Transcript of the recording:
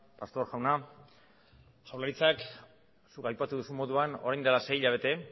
pastor jauna jaurlaritzak zuk aipatu duzun moduan orain dela sei hilabete